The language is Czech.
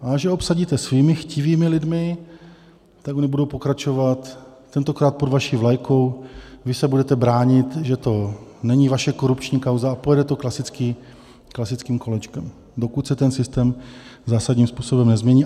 A až je obsadíte svými chtivými lidmi, tak oni budou pokračovat, tentokrát pod vaší vlajkou, když se budete bránit, že to není vaše korupční kauza, a pojede to klasickým kolečkem, dokud se ten systém zásadním způsobem nezmění.